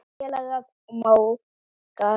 Góðir félagar og mágar.